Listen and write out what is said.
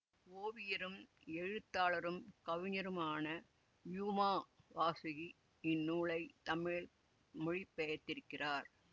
ஓவியரும் எழுத்தாளரும் கவிஞருமான யூமா வாசுகி இந்நூலை தமிழில் மொழிபெயர்த்திருக்கிறார்